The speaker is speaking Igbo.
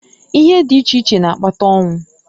Ihe di iche iche n'akpata onwu.